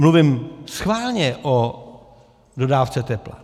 Mluvím schválně o dodávce tepla.